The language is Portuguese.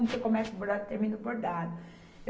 Você começa o bordado, termina o bordado.